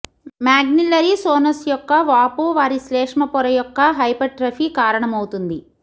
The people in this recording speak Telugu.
మాగ్నిల్లరీ సోనస్ యొక్క వాపు వారి శ్లేష్మ పొర యొక్క హైపర్ట్రఫీ కారణమవుతుంది